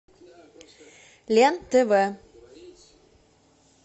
лен тв